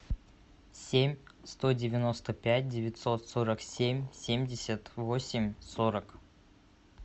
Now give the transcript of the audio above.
семь сто девяносто пять девятьсот сорок семь семьдесят восемь сорок